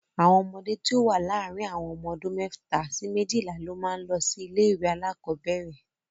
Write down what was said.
Àwọn ọmọdé tí ó wà láàrin ọmọ ọdún mẹ́ta sí méjìlá ló máa ń lọ sí ilé-ìwé alákọ̀ọ́bẹ̀ẹ̀rẹ̀.